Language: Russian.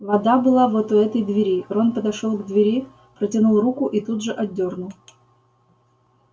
вода была вот у этой двери рон подошёл к двери протянул руку и тут же отдёрнул